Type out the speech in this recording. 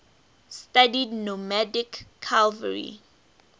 studied nomadic cavalry